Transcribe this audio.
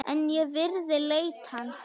En ég virði leit hans.